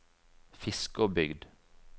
Fiskåbygd